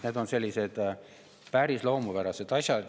Need on sellised päris loomupärased asjad.